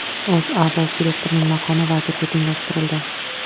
O‘zA bosh direktorining maqomi vazirga tenglashtirildi.